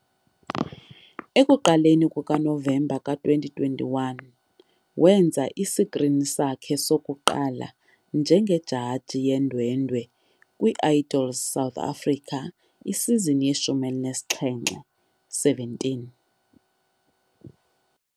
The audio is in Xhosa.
Ekuqaleni kukaNovemba ka-2021, wenza isikrini sakhe sokuqala njengejaji yeendwendwe kwi- "Idols South Africa" isizini ye-17 .